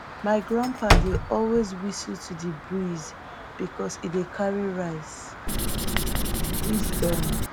my grandpa de always whistle to de breeze because e dey carry rice wisdom